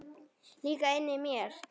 Líka inni í mér.